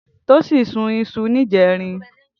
Tosin sún iṣú nijèrín